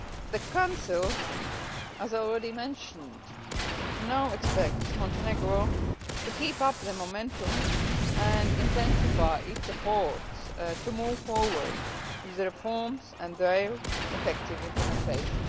The Council, as already mentioned, now expects Montenegro to keep up the momentum and intensify its efforts to move forward with the reforms and their effective implementation.